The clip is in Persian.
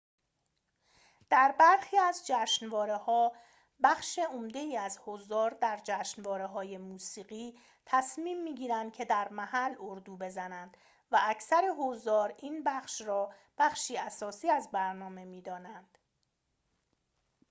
در برخی از جشنواره‌ها بخش عمده‌ای از حضار در جشنواره‌های موسیقی تصمیم می‌گیرند که در محل اردو بزنند و اکثر حضار این بخش را بخشی اساسی از برنامه می‌دانند